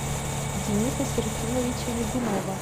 дениса серафимовича мигунова